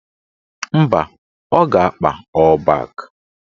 Mba, ọ ga-akpa ọ́ọ̀ bak